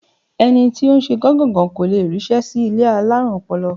Ẹni tó ń ṣe gán-gàn-gán kò le ríṣẹ́ sí ilé alárùn ọpọlọ.